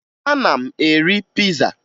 Ana m eri piza